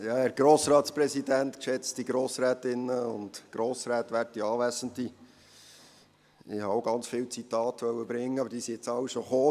Ich wollte auch viele Zitate bringen, aber die sind jetzt alle schon gekommen.